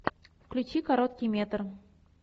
включи короткий метр